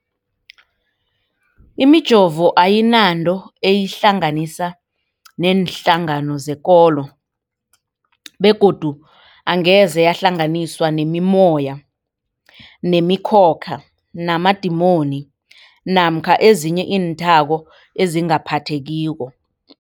Imijovo ayinanto eyihlanganisa neenhlangano zekolo begodu angeze yahlanganiswa nemimoya, nemi khokha, namadimoni namkha ezinye iinthako ezingaphathekiko.